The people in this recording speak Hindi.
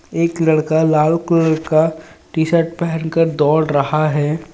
एक लड़का लाल कलर का टी शर्ट पहन कर दौड़ रहा है.